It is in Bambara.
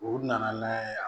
U nana n'a ye yan